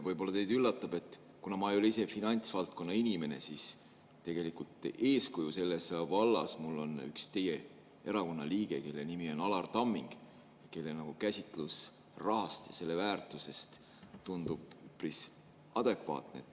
Võib-olla teid üllatab, et kuna ma ise ei ole finantsvaldkonna inimene, siis tegelikult eeskujuks selles vallas on mul üks teie erakonna liige – tema nimi on Alar Tamming –, kelle käsitlus rahast ja selle väärtusest tundub üpris adekvaatne.